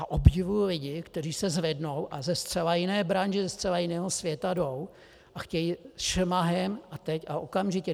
A obdivuji lidi, kteří se zvednou a ze zcela jiné branže, ze zcela jiného světa jdou a chtějí šmahem a teď a okamžitě...